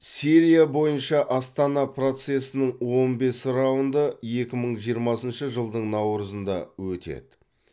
сирия бойынша астана процесінің он бес раунды екі мың жиырмасыншы жылдың наурызында өтеді